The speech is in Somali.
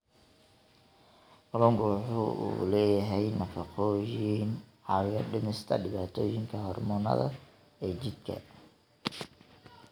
Kalluunku waxa uu leeyahay nafaqooyin caawiya dhimista dhibaatooyinka hormoonnada ee jidhka.